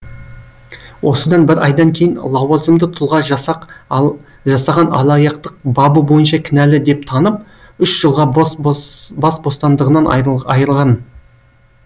осыдан бір айдан кейін лауазымды тұлға жасаған алаяқтық бабы бойынша кінәлі деп танып үш жылға бас бостандығынан айырған